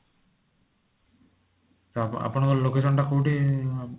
ହଁ ଆପଣଙ୍କ location ଟା କୋଊଠି